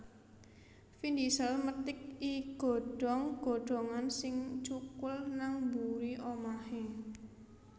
Vin Diesel methik i godhong godhongan sing cukul nang mburi omahe